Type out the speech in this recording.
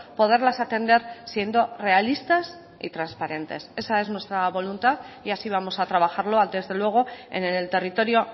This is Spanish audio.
poderlas atender siendo realistas y transparentes esa es nuestra voluntad y así vamos a trabajarlo desde luego en el territorio